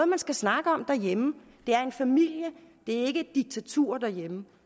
man skal snakke om derhjemme det er en familie det er ikke et diktatur derhjemme